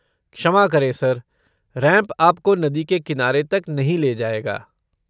क्षमा करें sir, ramp आपको नदी के किनारे तक नहीं ले जाएगा।